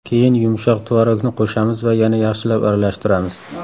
Keyin yumshoq tvorogni qo‘shamiz va yana yaxshilab aralashtiramiz.